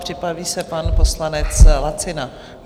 Připraví se pan poslanec Lacina.